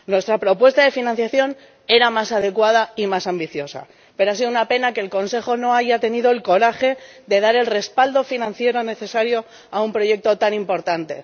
Nuestra propuesta de financiación era más adecuada y más ambiciosa, pero ha sido una pena que el Consejo no haya tenido el coraje de dar el respaldo financiero necesario a un proyecto tan importante.